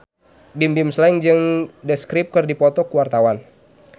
Bimbim Slank jeung The Script keur dipoto ku wartawan